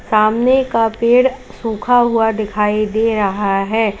सामने का पेड़ सुखा हुआ दिखाई दे रहा है।